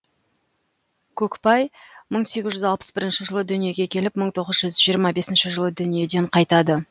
көкбай мың сегіз жүз алпыс бірінші жылы дүниеге келіп мың тоғыз жүз жиырма бесінші жылы дүниеден қайтады